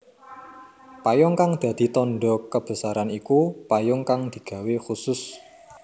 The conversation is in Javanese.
Payung kang dadi tandha kebesaran iku payung kang digawé khusus